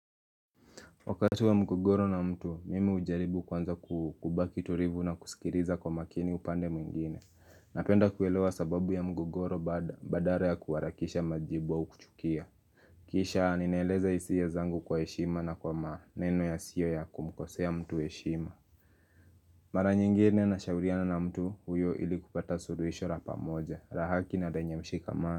Wakati wa mgogoro na mtu mimi ujaribu kwanza kubaki tulivu na kusikiriza kwa makini upande mwingine Napenda kuelewa sababu ya mgogoro bad badara ya kuarakisha majibu au kuchukia Kisha ninaeleza hisia zangu kwa eshima na kwa ma neno ya sio ya kumkosea mtu eshima Mara nyingine na shauliana na mtu huyo ilikupata suruishora pamoja, rahaki na denyemshika maa.